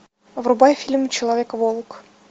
врубай фильм человек волк